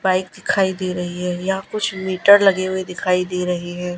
Bike दिखाई दे रही है यहां कुछ मीटर लगे हुए दिखाई दे रहे है।